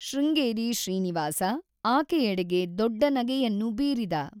ಶೃಂಗೇರಿ ಶ್ರೀನಿವಾಸ ಆಕೆಯಡೆಗೆ ದೊಡ್ಡ ನಗೆಯನ್ನು ಬೀರಿದ.